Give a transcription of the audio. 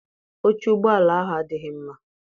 Oche ụgbọala ahụ adịghị mma.